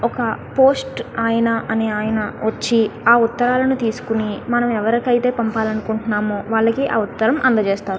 ఇక్కడ పోస్టు ఉన్నతు ఆ పోస్ట్ ఆయన పోస్ట్ ఇస్తునాటు క్నిపిస్తునది.